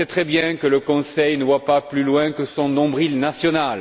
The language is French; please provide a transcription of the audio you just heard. Je sais très bien que le Conseil ne voit pas plus loin que son nombril national.